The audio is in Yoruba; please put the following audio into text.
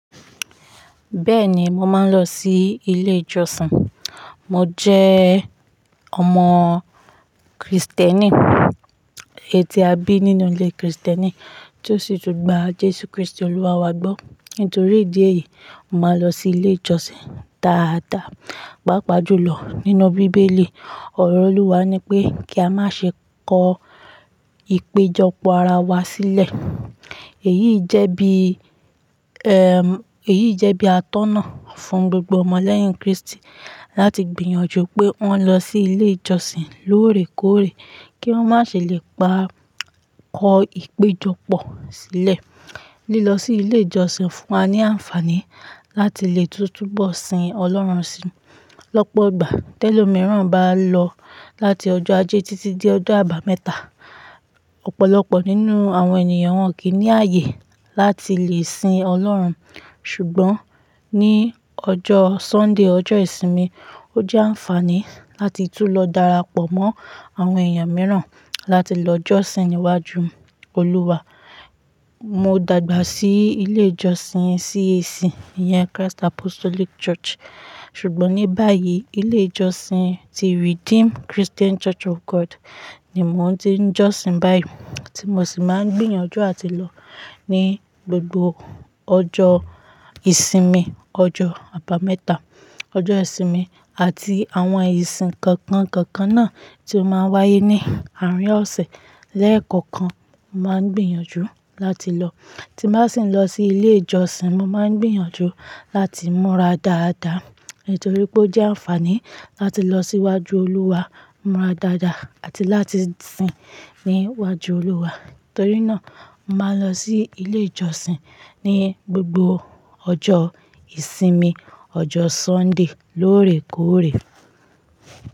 Bẹ́ẹ̀ ni, mo máa ń lọ sí ilé ìjọsìn. Mo jẹ́ ọmọ Krìstẹ́nì, èyí tí a bí nínú ilé Krìstẹ́nì, tí ó sì tún gba Jésù Krístì Olúwa wa gbọ́. Nítorí ìdí èyí, mo máa ń lọ sí ilé ìjọsìn dáadáa. Pápa jùlọ nínú bíbélì, ọ̀rọ̀ Olúwa ni pé kí a má ṣe kó ìpéjọpọ̀ ara wa sílẹ̀. Èyí jẹ́ bí, ẹm, èyí jẹ́ bí àtọ́nà fún gbogbo ọmọ lẹ́yìn Krístì láti gbìyànjú pé wọ́n lọ sí ilé ìjọsìn lóòrèkóòrè kí wọ́n má ṣe lè pa kó ìpéjọpọ̀ sílẹ̀. Lílọ sí ilé ìjọsìn fún wa ní àǹfàní láti lè túbọ̀ sìn ọlọ́run sí. Lọ́pọ̀ ìgbà, t'ẹ́lòmìíràn bá lọ láti ọjọ́ ajé títí di ọjọ́ àbámẹ́ta, ọ̀pọ̀lọpọ̀ nínú àwọn ènìyàn wọn kì í ní ààyè láti lè sìn Ọlọ́run. Ṣùgbọ́n ní ọjọ́ Sunday, ọjọ́ ìsinmi, ó jẹ́ àǹfààní láti tú lọ darapọ̀ mọ́ àwọn èèyàn mìíràn láti lọ jọ́sìn níwájú Olúwa. Mo dàgbà sí ilé ìjọsìn CAC, ìyẹn Christ Apostolic Church, ṣùgbọ́n ní báyìí, ilé ìjọsìn ti Redeemed Christian Church of God ni mò ń tí ń jọ́sìn báyìí tí mo sì máa ń gbìyànjú láti lọ ní gbogbo ọjọ́ ìsinmi, ọjọ́ àbámẹ́ta, ọjọ́ ìsinmi àti àwọn ìsìn kọ̀ọ̀kan kọ̀ọ̀kan náà tí ó máa ń wáyé ní àárín ọ̀sẹ̀ lẹ́ẹ̀kọ̀kan. Mo máa ń gbìyànjú láti lọ. Tí n bá sì ń lọ sí ilé ìjọsìn, mo máa ń gbìyànjú láti múra dáadáa nítorí pé ó jẹ́ àǹfààní láti lọ síwájú Olúwa, múra dáadáa àti láti sìn níwájú Olúwa. Nítorí náà, màá lọ sí ilé ìjọsìn ní gbogbo ọjọ́ ìsinmi, ọjọ́ Sunday lóòrèkóòrè.